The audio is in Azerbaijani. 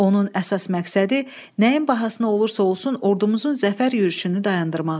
Onun əsas məqsədi nəyin bahasına olursa olsun ordumuzun zəfər yürüşünü dayandırmaq idi.